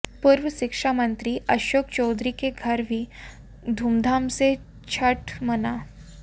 पूर्व शिक्षा मंत्री अशोक चौधरी के घर भी धूमधाम से छठ मना